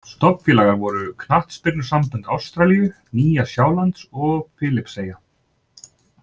Stofnfélagar voru knattspyrnusambönd Ástralíu, Nýja Sjálands og Filippseyja.